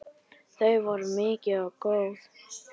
Þau voru mikil og góð.